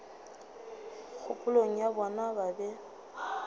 kgopolong ya bona ba be